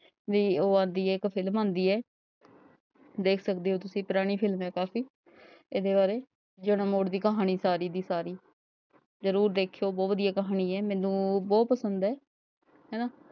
B ਉਹ ਆਂਦੀ ਹੈ ਇਕ film ਆਂਦੀ ਹੈ ਦੇਖ ਸਕਦੇ ਹੋ ਤੁਸੀ ਪੁਰਾਣੀ film ਹੈ ਕਾਫੀ ਇਹਦੇ ਬਾਰੇ ਮੋੜ ਦੀ ਕਹਾਣੀ ਸਾਰੀ ਦੀ ਸਾਰੀ ਜਰੂਰ ਦੇਖਯੋ ਬਹੁਤ ਵਧੀਆ ਕਹਾਣੀ ਹੈ ਮੈਨੂੰ ਬਹੁਤ ਪਸੰਦ ਹੈ ਹੈਨਾ।